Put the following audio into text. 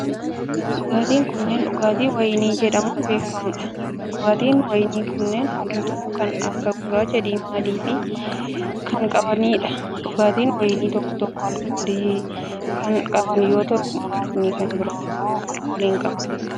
Dhugaatiin kunneen dhugaatii wayinii jedhamuun beekamanii dha. Dhugaatiin wayinii kunneen haalluu kan akka gurraacha diimaa fi adii kan qabanii dha. Dhugaatiin wayinii tokko tokko alkoolii kan qaban yoo ta'u, muraasni kan biroo immoo alkoolii hin qaban.